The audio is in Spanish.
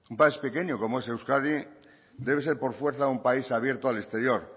es pequeño como es euskadi debe ser por fuerza un país abierto al exterior